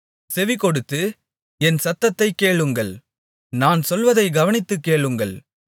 செவிகொடுத்து என் சத்தத்தைக் கேளுங்கள் நான் சொல்வதைக் கவனித்துக் கேளுங்கள்